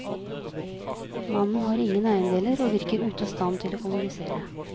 Mannen har ingen eiendeler og virker ute av stand til å kommunisere.